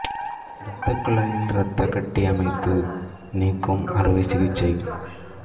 இரத்த குழாயில் இரத்த கட்டி அமைப்பு நீக்கும் அறுவை சிகிச்சை